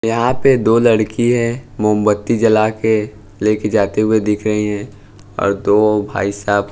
यहां पे दो लड़की है मोमबत्ती जलाके लेके जाते हुए दिख रही हैं और दो भाई साहब--